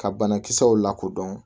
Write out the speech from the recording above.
Ka banakisɛw lakodɔn